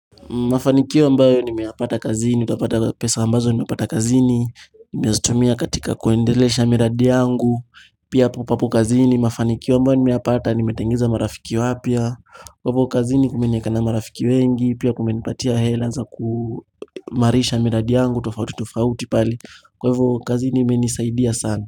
Mafanikio ambayo nimeyapata kazini utapata pesa ambazo nimepata kazini nimezitumia katika kuendelesha miradi yangu, pia hapo papo kazini, mafanikio ambayo nimeyapata, nimetengeneza marafiki wapya, kwa hivyo kazini kumenieka na marafiki wengi, pia kumenipatia hela za kuimarisha miradi yangu, tofauti tofauti pale, kwa hivyo kazini imenisaidia sana.